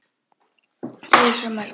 Þau eru svo mörg.